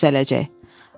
Vallah düzələcək.